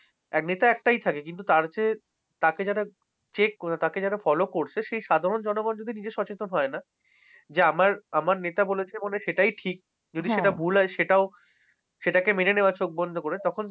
নেতা একটাই থাকে কিন্তু তার যে, তাকে যারা check করে তাকে যারা follow করছে। সেই সাধারণ জনগণ যদি নিজে সচেতন হয় না? যে আমার আমার নেতা বলেছে বলে সেটাই ঠিক। যদি সেটা ভুল হয় সেটাও। সেটা কে মেনে নেওয়া হয় চোখ বন্ধ করে। তখন